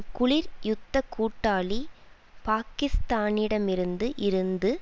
குளிர் யுத்த கூட்டாளி பாக்கிஸ்தானிடமிருந்து இருந்து